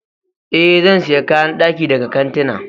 Ee, zan sayi kayan daki daga kantuna.